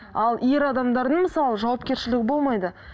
ал ер адамдардың мысалы жауапкершілігі болмайды